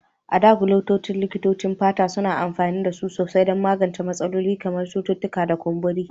A da, Gelocin, likitocin fata suna amfani da su sosai don magance matsalolin kamar cututtuka da kumburi.